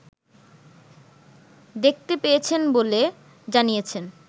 দেখতে পেয়েছেন বলে জানিয়েছেন